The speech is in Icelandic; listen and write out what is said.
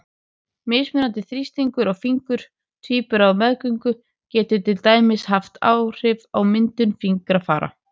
Mismunandi þrýstingur á fingur tvíbura á meðgöngu getur til dæmis haft áhrif á myndun fingrafara.